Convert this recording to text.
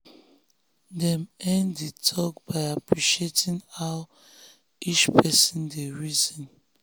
dem end the talk by appreciating how each person dey reason.